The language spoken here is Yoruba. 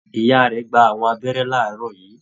Ìyá rẹ̀ gbà àwọn abẹ́rẹ́ laarọ yìí.